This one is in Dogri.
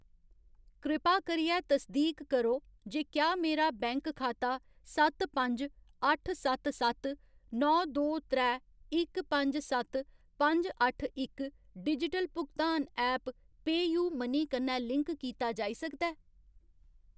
कृपा करियै तसदीक करो जे क्या मेरा बैंक खाता सत्त पंज अट्ठ सत्त सत्त नौ दो त्रै इक पंज सत्त पंज अट्ठ इक डिजिटल भुगतान ऐप पेऽयू मनी कन्नै लिंक कीता जाई सकदा ऐ ?